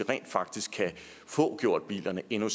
rent faktisk kan få gjort bilerne endnu